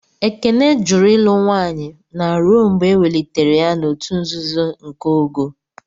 Ekene jụrụ ịlụ nwanye na ruo mgbe ewelitere ya n'òtù nzuzo nke ogo..